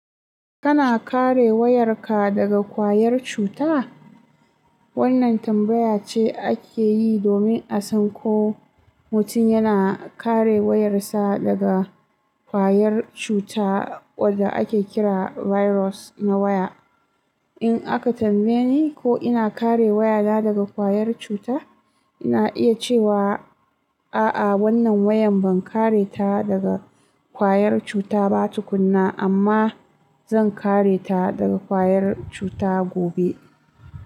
Kana kare wayarka daga kwayar cuta? Wannan tambaya ce ake yi domin a san ko mutum yana kare wayarsa daga kwayar cuta wadda ake kira "virus na waya". In aka tambaye ni ko ina kare wayana daga ƙwayar cuta, ina iya cewa, a'a wannan wayan ban kare ta daga ƙwayar cuta ba tukuna amma zan kare ta daga ƙwayar cuta gobe.